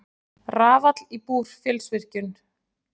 Rafall í Búrfellsvirkjun.